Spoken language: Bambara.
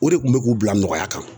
O de kun bɛ k'u bila nɔgɔya kan